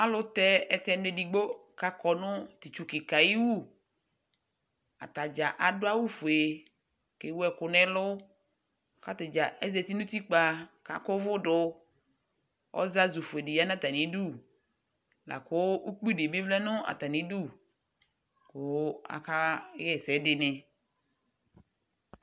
Alʋtɛ ɛtɛnʋ edigbo k'akɔ nʋ t'itsu kɩka yɛ ayiwu Atadzaa adʋ awʋ fue k'ewu ɛkʋ n'ɛlʋ k'atadzaa ezati nʋ utikpa, k'akʋvʋdʋ, ɔzazʋ fuedɩ ya n'atamidu, lakʋ ukpi bɩ vlɛ nʋ atamidʋ, kʋ akaɣa ɛsɛdɩnɩ